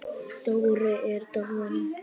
Dóri er dáinn.